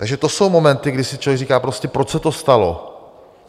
Takže to jsou momenty, kdy si člověk říká prostě, proč se to stalo.